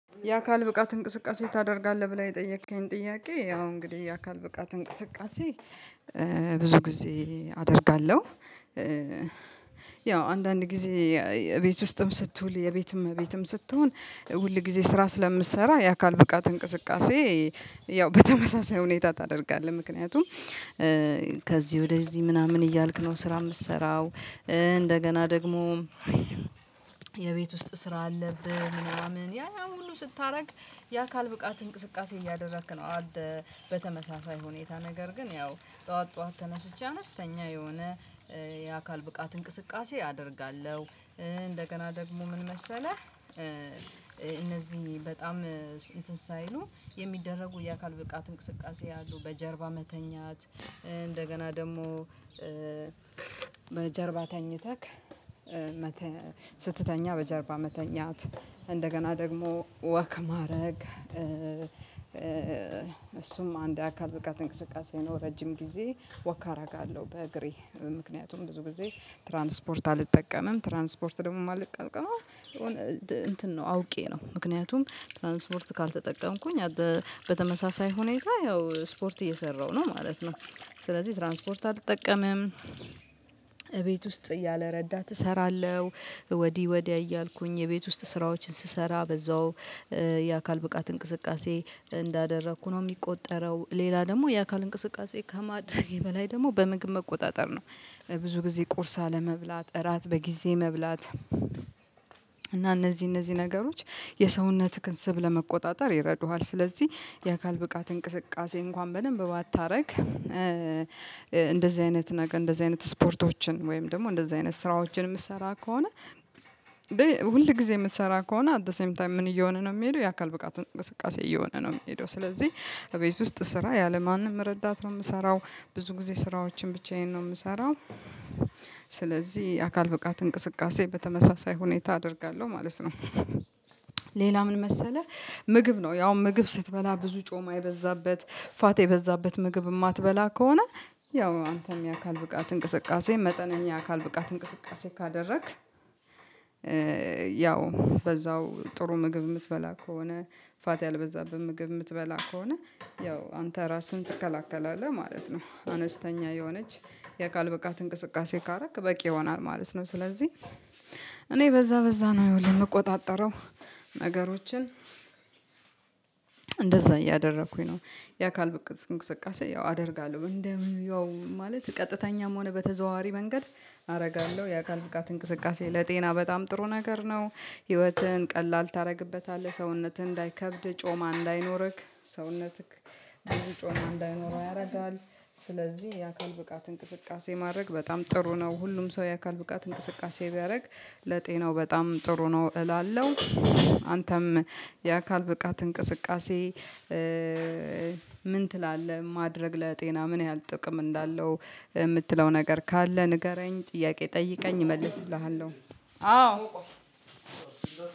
የአካል ብቃት እንቅስቃሴ ታደርጋለህ ብለህ የጠየከኝ ጥያቄ ያው እንግዲህ የአካል ብቃት እንቅስቃሴ ብዙ ጊዜ አደርጋለሁ። ያው አንዳንድ ጊዜ የቤት ውስጥም ስትውል የቤትም እመቤትም ስትሆን ሁል ጊዜ ስራ ስለምትሰራ የአካል ብቃት እንቅስቃሴ ያው በተመሳሳይ ሁኔታ ታደርጋለህ ምክንያቱም ከዚ ወደዚህ ምናምን እያልክ ነው ስራ የምትሰራው እንደገና ደግሞ የቤት ውስጥ ስራ አለብህ ምናምን ያ ሁሉ ስታረግ የአካል ብቃት እንቅስቃሴ እያደረክ ነው። በተመሳሳይ ሁኔታ ነገር ግን ያው ጠዋት ጠዋት ተነስቼ አነስተኛ የሆነ የአካል ብቃት እንቅስቃሴ አደርጋለሁ። እንደገና ደግሞ ምን መሰለህ እነዚህ በጣም እንትን ሳይሉ የሚደረጉ የአካል ብቃት እንቅስቃሴ ያሉ በጀርባ መተኛት እንደገና ደግሞ በጀርባ ተኝተህ ስትተኛ በጀርባ መተኛት እንደገና ደግሞ ወክ ማድረግ እሱም አንድ አካል ብቃት እንቅስቃሴ ነው። ረጅም ጊዜ ወክ አደርጋለሁ በእግሬ ምክንያቱም ብዙ ጊዜ ትራንስፖርት አልጠቀምም ትራንስፖርት ደግሞ ማልጠቀመው የሆነ እንትን ነው ነው አውቄ ነው ምክንያቱም ትራንስፖርት ካልተጠቀምኩኝ በተመሳሳይ ሁኔታ ያው ስፖርት እየሰራሁ ነው ማለት ነው። ስለዚህ ትራንስፖርት አልተጠቀምም። እቤት ውስጥ ያለረዳት እሰራለሁ ወዲ ወዲያ እያልኩኝ የቤት ውስጥ ስራዎችን ስሰራ በዛው የአካል ብቃት እንቅስቃሴ እንዳደረኩ ነው የሚቆጠረው። ሌላ ደግሞ የአካል እንቅስቃሴ ከማድረጌ በላይ ደግሞ በምግብ መቆጣጠር ነው ብዙ ጊዜ ቁርስ አለመብላት እራት በጊዜ መብላት እና እነዚህ እነዚህ ነገሮች የሰውነትህን ስብ ለመቆጣጠር ይረዱሃል። ስለዚህ የአካል ብቃት እንቅስቃሴ እንኳን በደንብ ባታደርግ እንደዚህ አይነት ነክ እንደዚህ አይነት ስፖርቶችን ወይም ደግሞ እንደዚህ አይነት ስራዎችን የምትሰራ ከሆነ ሁል ጊዜ የምትሰራ ከሆነ አት ዘ ሴም ታይም ምን እየሆነ ነው የሚሄደው የአካል ብቃት እንቅስቃሴ እየሆነ ነው የሚሄደው ስለዚህ እቤት ውስጥ ስራ ያለምንም ረዳት ነው። የምሰራው ብዙ ጊዜ ስራዎችን ብቻዬን ነው የምሰራው ስለዚህ አካል ብቃት እንቅስቃሴ በተመሳሳይ ሁኔታ አደርጋለሁ ማለት ነው። ሌላ ምን መሰለህ ምግብ ነው ያው ምግብ ስትበላ ብዙ ጮማ የበዛበት ፋቴ የበዛበት ምግብ የማትበላ ከሆነ ያው አንተም የአካል ብቃት እንቅስቃሴ መጠነኛ የአካል ብቃት እንቅስቃሴ ካደረግክ ያው በዛው ጥሩ ምግብ የምትበላ ከሆነ ፋት ያልበዛብህ ምግብ የምትበላ ከሆነ ያው አንተ ራስህን ትከላከላለህ ማለት ነው። አነስተኛ የሆነች የአካል ብቃት እንቅስቃሴ ካረክ በቂ ይሆናል ማለት ነው። ስለዚህ እኔ በዛ በዛ ነው የምቆጣጠረው ነገሮችን እንደዛ እያደረኩኝ ነው የአካል ብቅ እንቅስቃሴ ያው አደርጋለሁ እንደ ያው ማለት ቀጥተኛም ሆነ በተዘዋዋሪ መንገድ አደርጋለሁ የአካል ብቃት እንቅስቃሴ ለጤና በጣም ጥሩ ነገር ነው። ህይወትህን ቀላል ታደርግበታለህ ሰውነትህ እንዳይከብድ ጮማ እንዳይኖርክ ሰውነትክ ብዙ ጮማ እንዳይኖረው ያረዳዋል ስለዚህ የአካል ብቃት እንቅስቃሴ ማድረግ በጣም ጥሩ ነው ሁሉም ሰው የአካል ብቃት እንቅስቃሴ ቢያደርግ ለጤናው በጣም ጥሩ ነው እላለሁ። አንተም የአካል ብቃት እንቅስቃሴ ምን ትላለህ ማድረግ ለጤና ምን ያህል ጥቅም እንዳለው የምትለው ነገር ካለ ንገረኝ ጥያቄ ጠይቀኝ እመልስልሃለሁ። አዎ